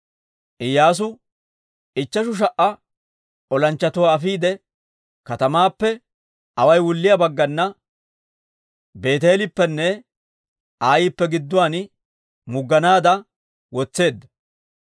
Iyyaasu ichcheshu sha"a olanchchatuwaa afiide, katamaappe away wulliyaa baggana, Beeteeleppenne Ayippe gidduwaan mugganaadda wotseedda.